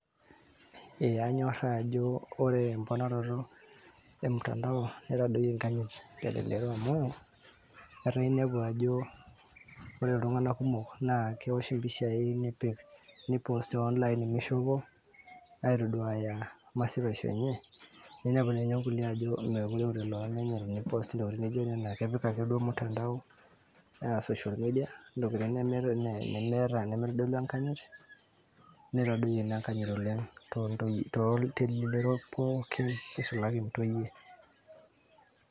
ee anyorra ajo ore emponaroto e mtandao nitadoyie enkanyit telelo amu etaa inepu ajo ore iltung'anak kumok naa kewosh impishai nepik ni post te online mishopo aitoduaya masipaisho enye ninepu ninye nkulie ajo mekure eure loomenye teni post intokitin naijo nena kepik akeduo mtandao aa social media intokitin nemeeta, nemitodolu enkanyit nitadoyie ina enkanyit oleng toontoyie, telelero pookin nisulaki intoyie .